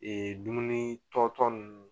Ee dumuni tɔ tɔ ninnu